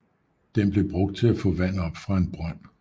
Den blev brugt til at få vand op fra en brønd